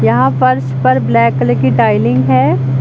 यहां फर्श पर ब्लैक कलर की टाइलिंग है।